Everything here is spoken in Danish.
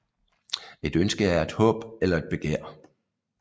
Et ønske er et håb eller et begær